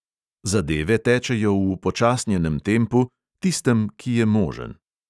Zadeve tečejo v upočasnjenem tempu, tistem, ki je možen.